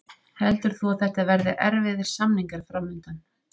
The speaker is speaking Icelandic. Heldur þú að þetta verði erfiðir samningar fram undan?